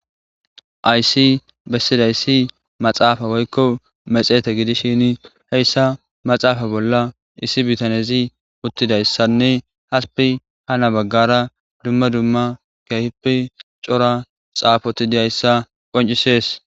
aysi bessidayssi maxaafa woykko mexeete gidishini heyssa maxaafa bolla issi bitanezi uttidayssanne haspi ha na baggara dumma dumma kehippi cora xaafoti diyayssa qoncisees.